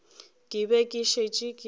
ke be ke šetše ke